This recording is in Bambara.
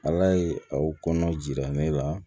Ala ye aw kɔnɔ jira ne la